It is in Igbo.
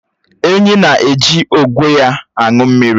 Ènyị́ na-èji ógwe ya aṅụ mmiri